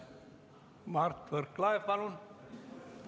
Mart Võrklaev, palun!